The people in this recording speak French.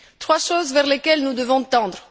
Trois choses vers lesquelles nous devons tendre.